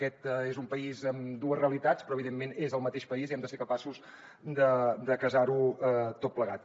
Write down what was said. aquest és un país amb dues realitats però evidentment és el mateix país i hem de ser capaços de casar ho tot plegat